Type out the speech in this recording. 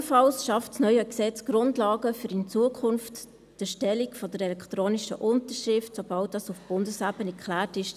Ebenfalls schafft das neue Gesetz Grundlagen, um in Zukunft die Erstellung von elektronischen Unterschriften zuzulassen, sobald dies auf Bundesebene geklärt ist.